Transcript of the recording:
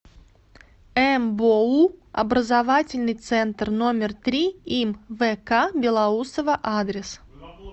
мбоу образовательный центр номер три им вк белоусова адрес